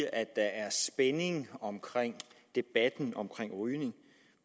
at der er spænding omkring debatten om rygning